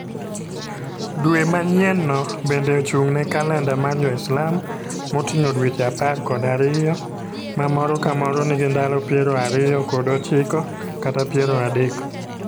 Dwe manyienno bende ochung'ne kalenda mar Jo-Islam, moting'o dweche apar kod ariyo ma moro ka moro nigi ndalo piero ariyo kod ochiko kata piero adek.